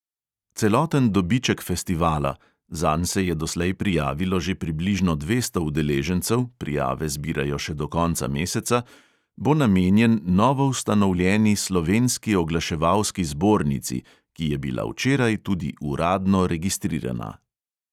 Celoten dobiček festivala – zanj se je doslej prijavilo že približno dvesto udeležencev, prijave zbirajo še do konca meseca – bo namenjen novoustanovljeni slovenski oglaševalski zbornici, ki je bila včeraj tudi uradno registrirana.